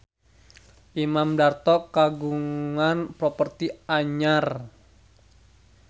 Imam Darto kagungan properti anyar